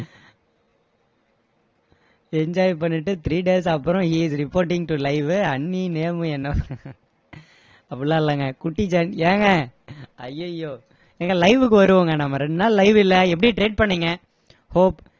enjoy பண்ணிட்டு three days அப்பறோம he is reporting to live வு அண்ணி name என்ன அப்படி எல்லாம் இல்லைங்க குட்டி ஜா~ ஏங்க ஐயயோ ஏங்க live கு வருவோங்க நம்ம ரெண்டு நாள் live இல்ல எப்படி trade பண்ணீங்க